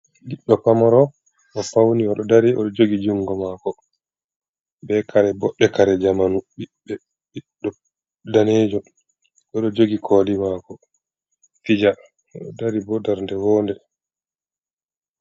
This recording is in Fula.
Ɓiɗɗo pamaro, o fauni oɗo dari, oɗo jogi jungo maako. Be kare boɗɗe kare zamanu. Ɓiɗɗo daneejo oɗo jogi kooli maako fija. Oɗo dari bo darnde wonde.